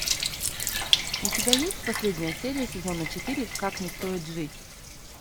у тебя есть последняя серия сезона четыре как не стоит жить